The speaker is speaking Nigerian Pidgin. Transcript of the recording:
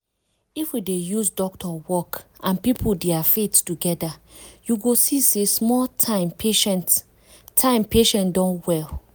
if we dey use doctor work and people dia faith together you go see say small time patient time patient don well.